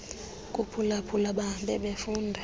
kuphulaphula bahambe befunda